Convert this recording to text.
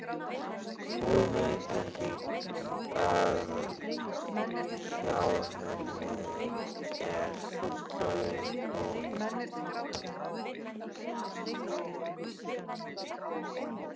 Hún veit ekki að hjá henni er fullorðin kona.